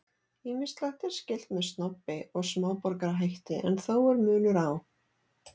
Ýmislegt er skylt með snobbi og smáborgarahætti en þó er munur á.